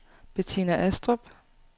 Betina Astrup